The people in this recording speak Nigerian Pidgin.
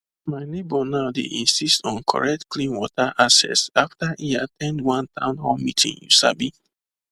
my neighbor now dey insist on correct clean water access after e at ten d one town hall meeting you sabi